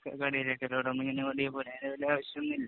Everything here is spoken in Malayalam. അങ്ങനെ ഓടിയാപോരെ. അതില് വല്യ ആവശ്യമൊന്നുമില്ല.